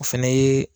O fɛnɛ ye